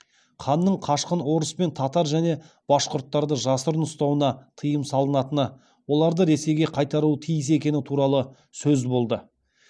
ханның қашқын орыс пен татар және башқұрттарды жасырын ұстауына тыйым салынатыны оларды ресейге қайтаруы тиіс екені туралы сөз болды